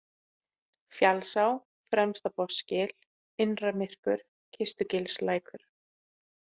Fjallsá, Fremstabotnsgil, Innramyrkur, Kistugilslækur